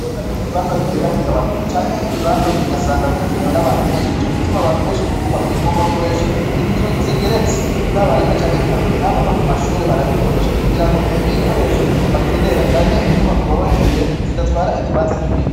kubera yuko ibibanza bigenda bigabanuka, canke ibibanza bigasanga bikenewe n'abantu benshi nico gituma abantu benshi mu kubaka ubu bakoresha inzu zigeretse haba rimwe canke kabiri, haba no ku mashuri barabikoresha kugira ngo ibikoresho bakenera canke inyubako babakeneye zidatwara ikibanza kinini.